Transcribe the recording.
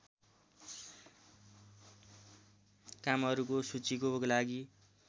कामहरूको सूचीको लागि